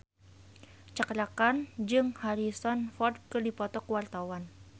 Cakra Khan jeung Harrison Ford keur dipoto ku wartawan